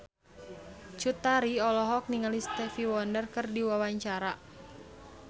Cut Tari olohok ningali Stevie Wonder keur diwawancara